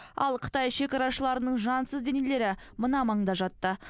ал қытай шекарашыларының жансыз денелері мына маңда жатты